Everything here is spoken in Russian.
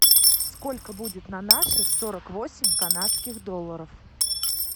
сколько будет на наши сорок восемь канадских долларов